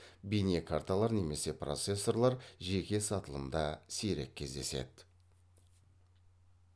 бейнекарталар немесе процессорлар жеке сатылымда сирек кездеседі